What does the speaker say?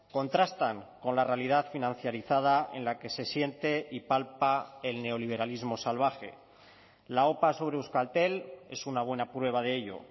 contrastan con la realidad financiarizada en la que se siente y palpa el neoliberalismo salvaje la opa sobre euskaltel es una buena prueba de ello